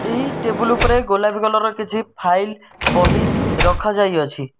ଏହି ଟେବୁଲ ଉପରେ ଗୋଲାପୀ କଲର ର କିଛି ଫାଇଲ ବହି ରଖା ଯାଇଅଛି।